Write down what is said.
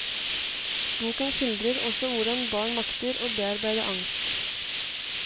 Boken skildrer også hvordan barn makter å bearbeide angst.